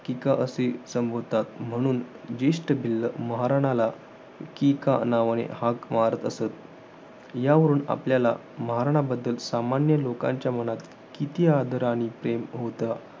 किका असे संबोधतात. म्हणून, जेष्ठ भिल्ल महारणाला, किका नावाने हाक मारत असत. यावरून आपल्याला, महाराणा बद्दल सामान्य लोकांच्या मनात किती आदर आणि प्रेम होतं,